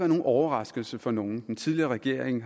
nogen overraskelse for nogen den tidligere regering